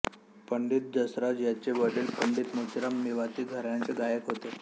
पंडित जसराज यांचे वडील पंडित मोतीराम मेवाती घराण्याचे गायक होते